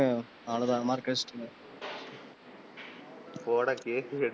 போடா கேக்கு,